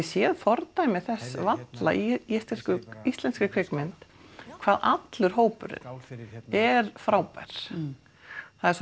séð fordæmi þess í íslenskri kvikmynd hvað allur hópurinn er frábær það er